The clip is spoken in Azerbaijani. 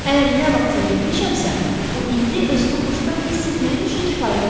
Əgər nə vaxtsa yerimişəmsə, bu indi özümü xoşbəxt hiss etməyim üçün kifayətdir.